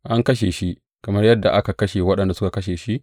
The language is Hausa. An kashe shi kamar yadda aka kashe waɗanda suka kashe shi?